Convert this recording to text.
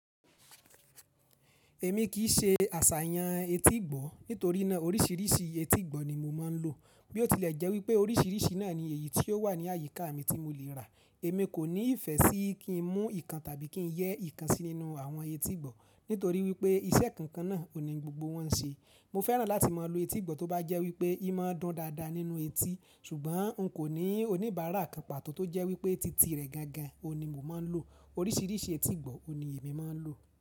Èmi kì í ṣe àṣàyàn etí ìgbọ́, nítorí ná orísìírísìí etí ìgbọ́ ni mo máa ń lò. Bí ó tilẹ̀ jẹ́ wípé orísìírísìí náà ni èyí tí ó wà ní àyíká mi tí mo lè rà, èmi kò ní ìfẹ́ sí kí n mú ìkan tàbí kí n yẹ ìkan sí nínú àwọn etí ìgbọ́ nítorí wípé iṣẹ́ kankan náà, ò ní gbogbo wọn ń ṣe. Mo fẹ́ràn láti má a lo etí ìgbọ́ tó bá jẹ́ wípé ì máa dun dáadáa nínú etí ṣùgbọ́n un kò ní oníbàárà kan pàtó tó jẹ́ wípé títì rẹ̀ gangan òní mo máa ń lò. Orísìírísìí etí ìgbọ́ òní èmi máa ń lò.